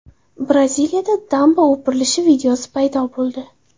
Braziliyada damba o‘pirilishi videosi paydo bo‘ldi .